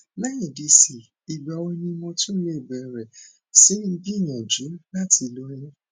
lẹyìn dc ìgbà wo ni mo tún lè bẹrẹ sí í gbìyànjú láti lóyún